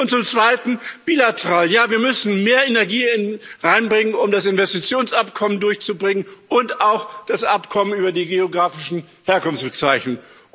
Und zum Zweiten, bilateral Ja, wir müssen mehr Energie reinbringen, um das Investitionsabkommen durchzubringen und auch das Abkommen über die geografischen Herkunftsbezeichnungen.